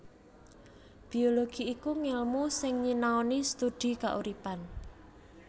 Biologi iku ngèlmu sing nyinaoni studi kauripan